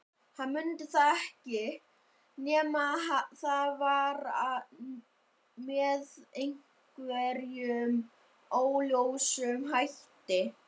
Hann mundi það ekki, nema að það var með einhverjum óljósum hætti.